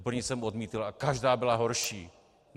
První jsem odmítl a každá byla horší.